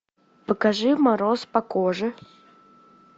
покажи мороз по коже